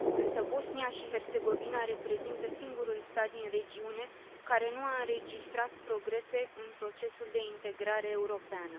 Însă Bosnia și Herțegovina reprezintă singurul stat din regiune care nu a înregistrat progrese în procesul de integrare europeană.